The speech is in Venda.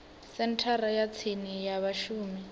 senthara ya tsini ya vhashumi